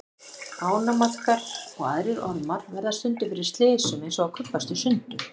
Ánamaðkar og aðrir ormar verða stundum fyrir slysum eins og að kubbast í sundur.